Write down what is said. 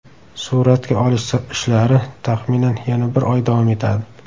Suratga olish ishlari, taxminan, yana bir oy davom etadi.